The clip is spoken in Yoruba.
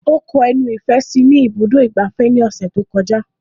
Ó kọ ẹnu ìfẹ́ sí i ní ibùdó ìgbafẹ́ ní ọ̀sẹ̀ tí ó kọjá